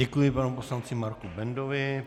Děkuji panu poslanci Marku Bendovi.